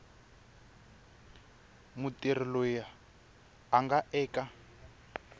mutirhi loyi a nga eka